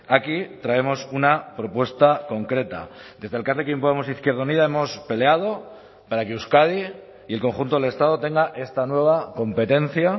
aquí traemos una propuesta concreta desde elkarrekin podemos izquierda unida hemos peleado para que euskadi y el conjunto del estado tenga esta nueva competencia